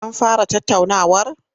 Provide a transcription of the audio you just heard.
An fara tattaunawar?